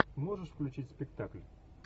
можешь включить спектакль